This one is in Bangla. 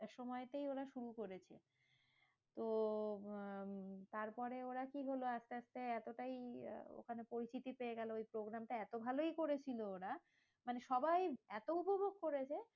সময়তেই ওরা শুরু করেছে। তো তারপরে ওরা কি হলো আস্তে আস্তে এতটাই আ পরিচিতি পেয়ে গেলো ওই programme টা এতো ভালোই করেছিল ওরা, মানে সবাই এত উপভোগ করেছে